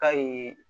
Kayi